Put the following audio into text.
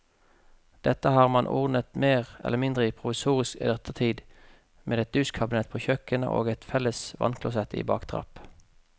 Dette har man ordnet mer eller mindre provisorisk i ettertid med et dusjkabinett på kjøkkenet og et felles vannklosett i baktrapp.